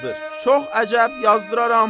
Çox əcəb, yazdıraram.